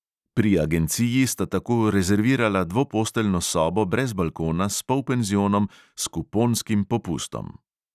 Pri agenciji sta tako rezervirala dvoposteljno sobo brez balkona s polpenzionom s kuponskim popustom.